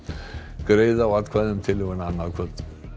greiða á atkvæði um tillöguna annað kvöld